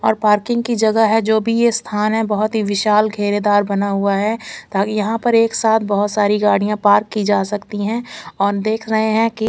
और पार्किंग की जगह है जो भी ये स्थान है बहोत ही विशाल खेरेदार बना हुआ है ताकि यहा पर एक साथ बहुत सारी गाड़िया पार्क की जा सकती है और देख रहे है की--